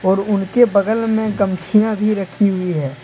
और उनके बगल में गमछिया भी रखी हुई है।